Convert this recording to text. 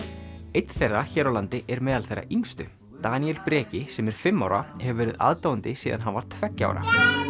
einn þeirra hér á landi er meðal þeirra yngstu Daníel Breki sem er fimm ára hefur verið aðdáandi síðan hann var tveggja ára